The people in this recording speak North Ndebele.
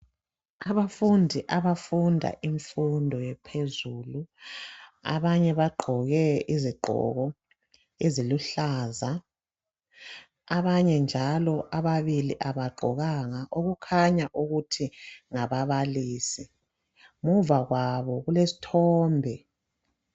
Abafundi abafunda imfundo ephezulu, abanye bagqoke izigqoko eziluhlaza, abanye njalo ababili abagqokanga okukhanya ukuthi ngababalisi, ngemuva kwabo kulesithombe.